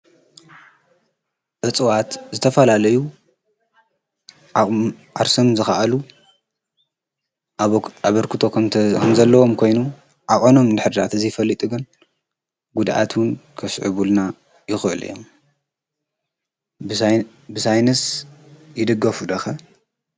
እጽዋት ዝተፋላለዩ ዓርሰም ዝኸኣሉ ኣበርክቶ ኸምተ ኸምዘለዎም ኮይኑ ኣቐኖም ድኅዳት እዘይፈሊጥገን ጕድኣትውን ከስዕ ቡልና ይኽዕሉ እየም ብሳይንስ ይድገፉ ደኸ